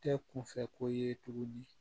Tɛ kunfɛ ko ye tuguni